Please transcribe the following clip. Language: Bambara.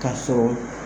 Ka sɔrɔ